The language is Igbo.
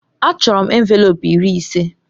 Achọrọ m envelopu iri ise.